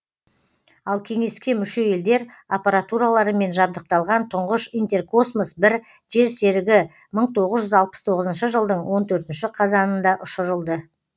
ал кеңеске мүше елдер аппаратураларымен жабдықталған тұңғыш интеркосмос бір жерсерігі мың тоғыз жүз алпыс тоғызыншы жылдың он төртінші қазанында ұшырылды